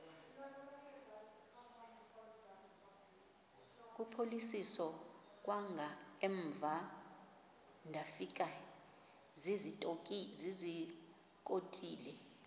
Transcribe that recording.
kuphosiliso kwangaemva ndafikezizikotile